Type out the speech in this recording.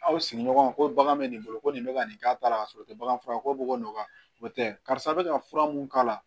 Aw sigiɲɔgɔnw ko bagan bɛ nin bolo ko nin bɛ ka nin k'a la ka sɔrɔ o tɛ bagan fura ye ko bɛ ka nɔgɔya o tɛ karisa bɛ ka fura mun k'a la